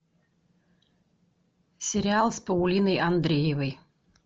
сериал с паулиной андреевой